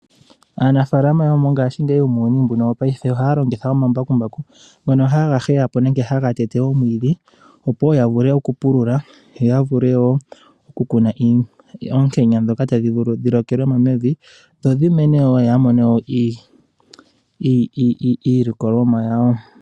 Aanafalama yomuuyuni wopaife ohaya longitha omambakumbaku ngono haga heya nenge okuteta omwiidhi. Opo ya vule okupulula yo ya kune oontanga ndhono tadhi vulu okulokelwamo mevi yo ya mone iilikolomwa yawo.